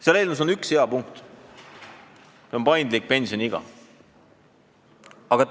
Selles eelnõus on ka üks hea punkt, see on paindlik pensioniiga.